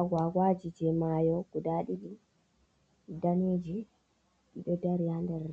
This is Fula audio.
Agwagwa ji jey mayo guda ɗiɗi daneji. Ɗi ɗo dari haa nder,